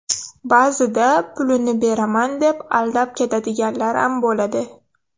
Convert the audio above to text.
Ba’zida pulini beraman deb aldab ketadiganlaram bo‘ladi.